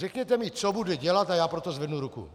Řekněte mi, co bude dělat, a já pro to zvednu ruku.